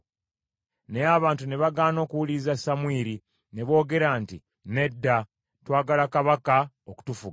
Naye abantu ne bagaana okuwuliriza Samwiri, ne boogera nti, “Nedda! Twagala kabaka okutufuga,